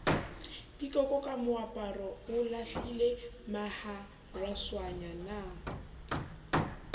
pikoko ka moaparo o lahlilemaharaswanyana